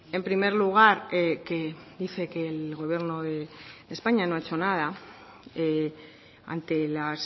en primer lugar que dice que el gobierno de españa no ha hecho nada ante las